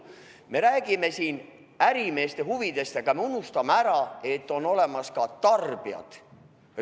Me räägime siin ärimeeste huvidest, aga me unustame ära, et on olemas ka tarbijad.